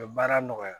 U bɛ baara nɔgɔya